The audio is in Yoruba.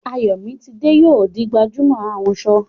Ayomitide yóò di gbajúmọ̀ ahunṣọ